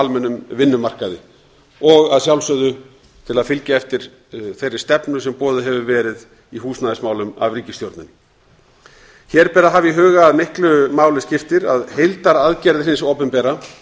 almennum vinnumarkaði og að sjálfsögðu til að fylgja eftir þeirri stefnu sem boðuð hefur verið í húsnæðismálum af ríkisstjórninni hér ber að hafa í huga að miklu máli skiptir að heildaraðgerðir hins opinbera